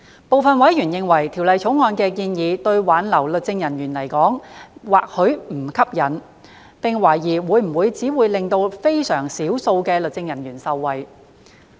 部分委員認為《條例草案》的建議對挽留律政人員而言或許並不吸引，並懷疑會否只能令非常少數的律政人員受惠。